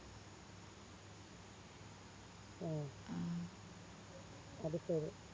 ആഹ് അത് ശെരി